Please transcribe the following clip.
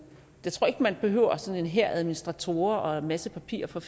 det tror jeg ikke man behøver sådan en hær af administratorer og en masse papir for